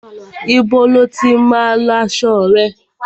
Ibo ni o tí má ń lọ aṣo rẹ?